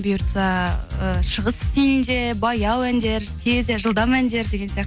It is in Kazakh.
бұйыртса і шығыс стилінде баяу әндер тез і жылдам әндер деген сияқты